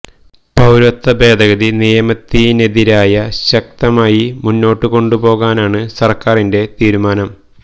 പൌരത്വ ഭേദഗതി നിയമത്തിനെതിരായ ശക്തമായി മുന്നോട്ട് കൊണ്ട് പോകാനാണ് സര്ക്കാരിന്റെ തീരുമാനം